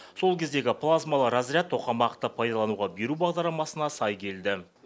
сол кездегі плазмалы разряд тоқамақты пайдалануға беру бағдарламасына сай келді